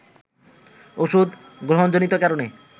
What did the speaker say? ওষুধ গ্রহণজনিত কারণে